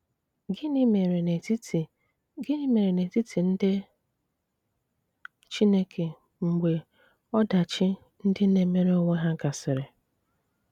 Gịnị̀ méré n’etiti Gịnị̀ méré n’etiti ndị Chineke mgbè ọdachi ndị na-emere onwé há gasịrị?